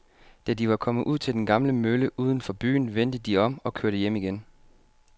Da de var kommet ud til den gamle mølle uden for byen, vendte de om og kørte hjem igen.